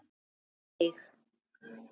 Og við eig